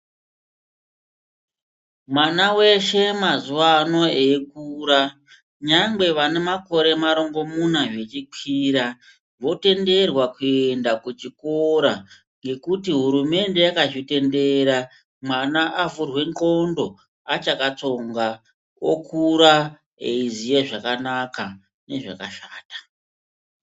Mwana weshe mazuvano eyikura, nyangwe vane makore marongomuna zvichikwira, votenderwa kuenda kuchikora, ngekuti hurumende yakazvitendera, mwana avhurwe ndxondo achakatsonga, okura eyiziya zvakanaka nezvakashata.